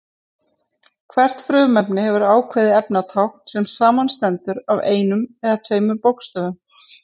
Hvert frumefni hefur ákveðið efnatákn sem samanstendur af einum eða tveimur bókstöfum.